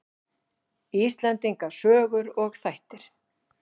Íslendinga sögur og þættir.